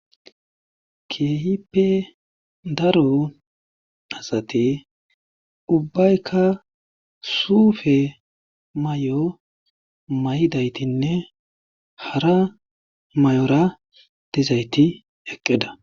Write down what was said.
Keehippe daro asatii ubbaykka suufe may'o may'idaytinne hara may'ora dizayti eqqida